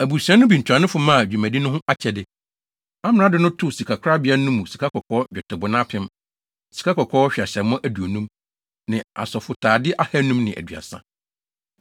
Abusua no bi ntuanofo maa dwumadi no ho akyɛde. Amrado no too sikakorabea no mu sikakɔkɔɔ nnwetɛbona apem (1,000), sikakɔkɔɔ hweaseammɔ aduonum (50) ne asɔfotade ahannum ne aduasa (530).